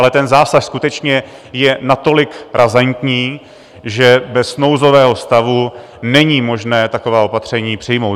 Ale ten zásah skutečně je natolik razantní, že bez nouzového stavu není možné taková opatření přijmout.